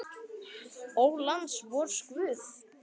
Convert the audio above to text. Ó, lands vors guð!